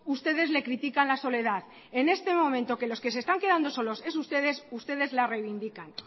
ustedes le critican la soledad en este momento que los que se están quedando solos son ustedes ustedes la reivindican